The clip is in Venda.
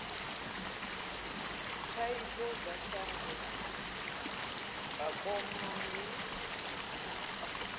thaidzo dza shango vhakoma ndi